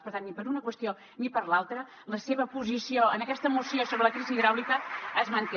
per tant ni per una qüestió ni per l’altra la seva posició en aquesta moció sobre la crisi hidràulica es manté